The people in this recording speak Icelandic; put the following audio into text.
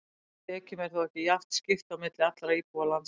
Tekjum er þó ekki jafnt skipt á milli allra íbúa landsins.